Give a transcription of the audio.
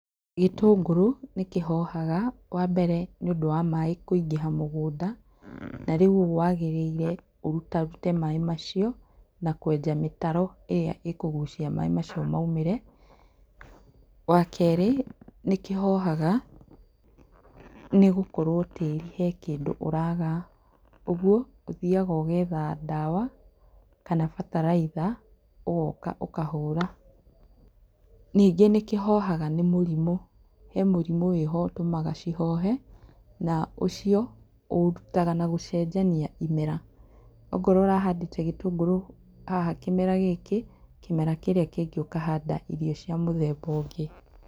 Gĩtũngũrũ nĩkĩhohaga, wa mbere nĩũndũ wa maaĩ kũingĩha mũgũnda, na rĩu ũguo waagĩrĩire ũrutarute maaĩ macio na kwenja mĩtaro ĩrĩa ĩkũgucia maaĩ macio maũmĩre. Wa kerĩ, nĩ kĩhohaga nĩ gũkorwo tĩĩri he kĩndũ ũraaga, ũguo ũthiaga ũgetha ndawa, kana bataraitha, ũgooka ũkahũra. Ningĩ nĩkĩhoha nĩ mũrimũ, he mũrimũ wĩ ho ũtũmaga kĩhohe na ũcio ũũrutaga na gũcenjania imera. Ongorwo ũrahandĩte gĩtũngũrũ haha kĩmera gĩkĩ, kĩmera kĩrĩa kĩngĩ ũkahanda irio cia mũthemba ũngĩ.